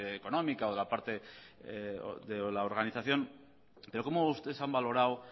económica o de la parte de la organización cómo ustedes han valorado